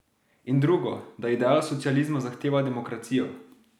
In drugo, da ideal socializma zahteva demokracijo.